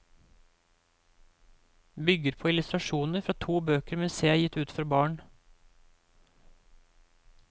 Bygger på illustrasjoner fra to bøker museet har gitt ut for barn.